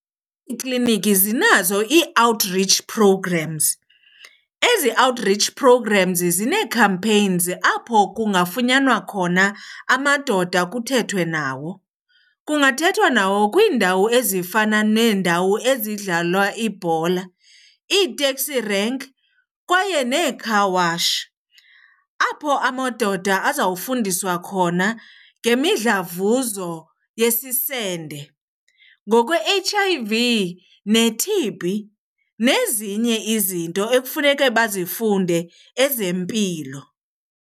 Iikliniki zinazo ii-outreach programs. Ezi outreach programs zinee-campaigns apho kungafunyanwa khona amadoda kuthethwe nawo. Kungathethwa nawo kwiindawo ezifana neendawo ezidlalwa ibhola, ii-taxi rank kwaye ne-car wash. Apho amadoda azawufundiswa khona ngemidlavuzo yesisende, ngokwe-H_I_V ne-T_B nezinye izinto ekufuneke bazifunde ezempilo.